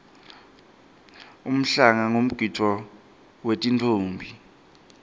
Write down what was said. umhlanga ngumgidvo wetinffombi